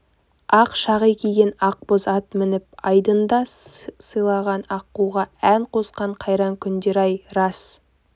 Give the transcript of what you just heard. ақ шағи киген ақ боз ат мініп айдында сыланған аққуға ән қосқан қайран күндер-ай рас